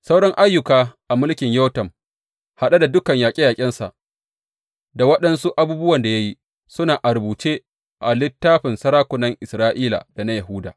Sauran ayyuka a mulkin Yotam, haɗe da dukan yaƙe yaƙensa da waɗansu abubuwan da ya yi, suna a rubuce a littafin sarakunan Isra’ila da na Yahuda.